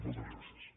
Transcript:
moltes gràcies